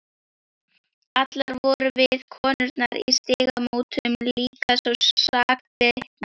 Allar vorum við, konurnar í Stígamótum, líka svo sakbitnar.